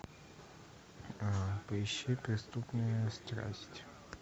поищи преступная страсть